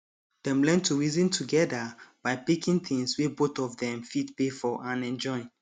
dem learn to reason together by picking things wey both of dem fit pay for and enjoy